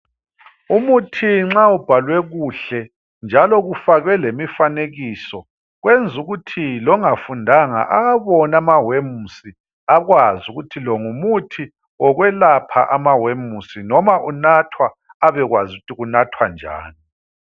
Umuthi nxa ubhalwe kuhle njalo kufakwe lemifanekiso kwenzukuthi longafundanga awabone amawemusi akwazi ukuthi lo ngumuthi wekwelapha amawemusi noma unathwa abekwazi ukuthi kunathwa njani.